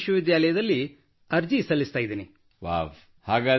wow ಹಾಗಾದರೆ ನೀವು ದೆಹಲಿಗೆ ಬರುತ್ತಿದ್ದೀರಿ wow so you are coming to Delhi